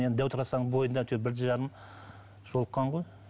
енді дәу трассаның бойында әйтеуір бірлі жарым жолыққан ғой